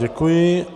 Děkuji.